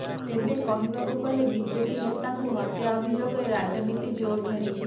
ତେବେ କହିବାକୁ ଗଲେ ବିଜେପି ନେତାଙ୍କୁ ହତ୍ୟା ଅଭିଯୋଗରେ ରାଜନୀତି ଜୋର ଧରିଛି